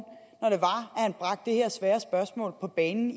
når han bragte det her svære spørgsmål på banen